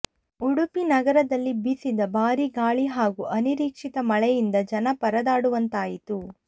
ಉಡುಪಿ ನಗರದಲ್ಲಿ ಬೀಸಿದ ಭಾರೀ ಗಾಳಿ ಹಾಗೂ ಅನಿರೀಕ್ಷಿತ ಮಳೆ ಯಿಂದ ಜನ ಪರದಾಡುವಂತಾಯಿತು